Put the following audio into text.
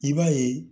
I b'a ye